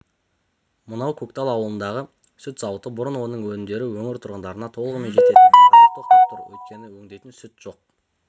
мынау көктал ауылындағы сүт зауыты бұрын оның өнімдері өңір тұрғындарына толығымен жететін қазір тоқтап тұр өйткені өңдейтін сүт жоқ